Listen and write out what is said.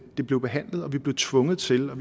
det blev behandlet og vi blev tvunget til at